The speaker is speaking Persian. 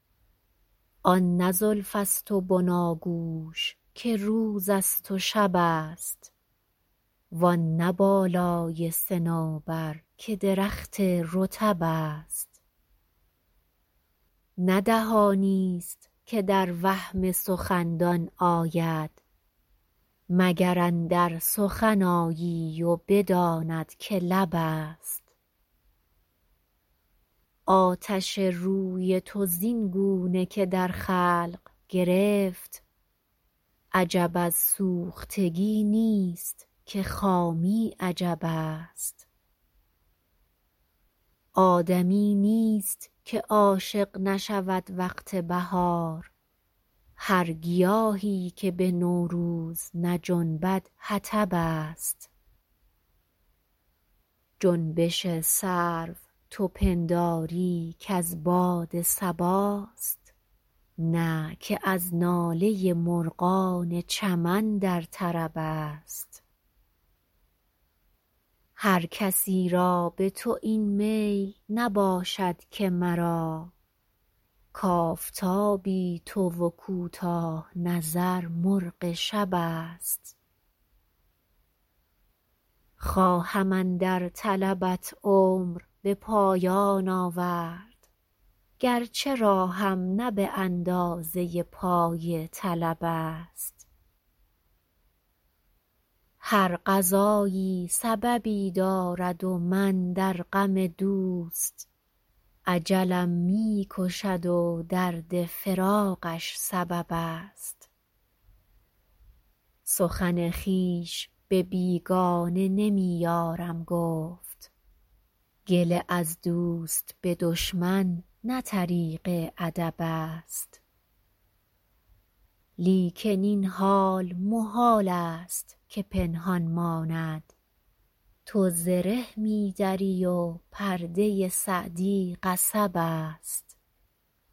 آن نه زلف است و بناگوش که روز است و شب است وآن نه بالای صنوبر که درخت رطب است نه دهانی است که در وهم سخندان آید مگر اندر سخن آیی و بداند که لب است آتش روی تو زین گونه که در خلق گرفت عجب از سوختگی نیست که خامی عجب است آدمی نیست که عاشق نشود وقت بهار هر گیاهی که به نوروز نجنبد حطب است جنبش سرو تو پنداری که از باد صباست نه که از ناله مرغان چمن در طرب است هر کسی را به تو این میل نباشد که مرا کآفتابی تو و کوتاه نظر مرغ شب است خواهم اندر طلبت عمر به پایان آورد گرچه راهم نه به اندازه پای طلب است هر قضایی سببی دارد و من در غم دوست اجلم می کشد و درد فراقش سبب است سخن خویش به بیگانه نمی یارم گفت گله از دوست به دشمن نه طریق ادب است لیکن این حال محال است که پنهان ماند تو زره می دری و پرده سعدی قصب است